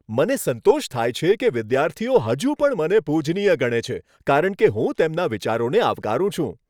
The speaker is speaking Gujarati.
મને સંતોષ થાય છે કે વિદ્યાર્થીઓ હજુ પણ મને પૂજનીય ગણે છે, કારણ કે હું તેમના વિચારોને આવકારું છું.